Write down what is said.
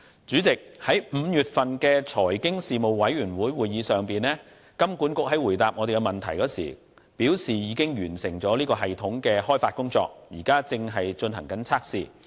主席，在5月份的財經事務委員會會議上，金管局回答問題時表示，已經完成系統的開發工作，現正進行測試。